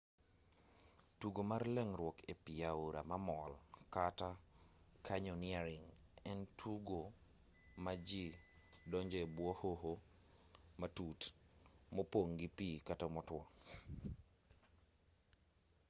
tugo mar mar leng'ruok e pi aora mamol kata: canyoneering en tugo ma ji donjoe e bwo hoho matut mopong' gi pi kata motwo